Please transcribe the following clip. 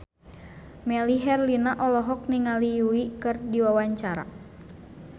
Melly Herlina olohok ningali Yui keur diwawancara